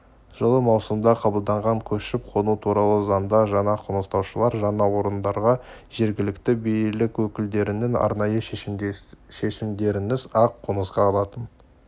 жылы маусымда қабылданған көшіп-қону туралы заңда жаңа қоныстанушылар жаңа орындарға жергілікті билік өкілдерінің арнайы шешімдерінсіз-ақ қоныстана алатын